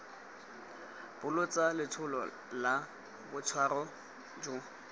bolotsa letsholo la boitshwaro jo